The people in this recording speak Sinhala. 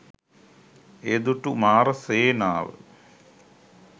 එය දුටු මාර සේනාව